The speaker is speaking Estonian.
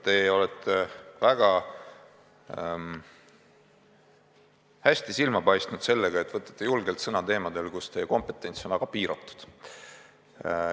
Te olete väga hästi silma paistnud sellega, et võtate julgelt sõna teemadel, mille puhul teie kompetents on väga piiratud.